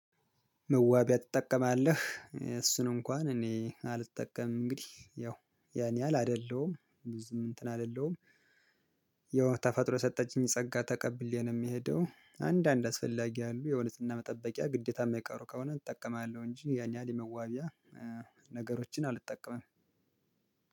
መዋቢያ ትጠቀማለህ እሱን እንኳን እኔ አልጠቀምም እንግዲህ ያው ያን ያህል አይደለሁም ብዙም እንትን አይደለሁም። ያው ተፈጥሮ የሰጠችኝ ጸጋ ተቀብዬ የሚሄደው አንዳንድ አስፈላጊ ያሉ የዉበት መጠበቂያ ግዴታ የማይቀሩ ከሆነ እጠቀማለሁ እንጂ ያን ያህል የመዋቢያ ነገሮችን አልጠቀምም።